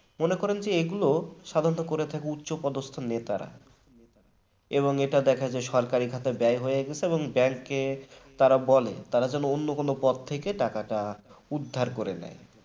মনে করুন এগুলো সাধারণত করে থাকে উচ্চপদস্থ নেতারা এবং এটা দেখা যায় সরকারি খাতায় ব্যয় হয়ে গেছে এবং bank তারা বলে তারা যেন অন্য কোন পথ থেকে টাকাটা উদ্ধার করে নেয়